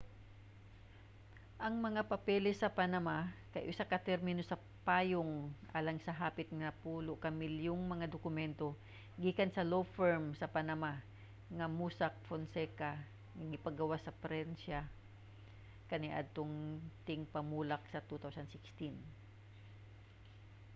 ang mga papeles sa panama kay usa ka termino sa payong alang sa hapit napulo ka milyong mga dokumentong gikan sa law firm sa panama nga mossack fonseca nga gipagawas sa prensa kaniadtong tingpamulak sa 2016